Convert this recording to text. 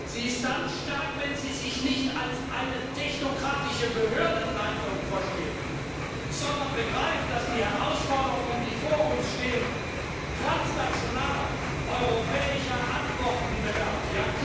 Sie ist dann stark, wenn Sie sich nicht als eine technokratische Behördenleitung versteht, sondern begreift, dass die vor uns stehenden Herausforderungen transnationaler europäischer Antworten bedürfen.